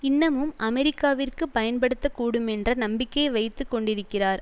இன்னமும் அமெரிக்காவிற்கு பயன்படத்தக்கூடுமென்ற நம்பிக்கையை வைத்து கொண்டிருக்கிறார்